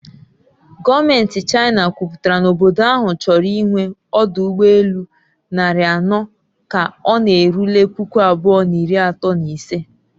Gọọmenti China kwuputara na obodo ahụ chọrọ ịnwe ọdụ ụgbọ elu narị anọ ka ọ na-erule puku abụọ na iri atọ na ise